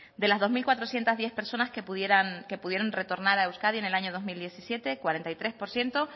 de las dos mil cuatrocientos diez personas que pudieran retornar a euskadi en el año dos mil diecisiete cuarenta y tres por ciento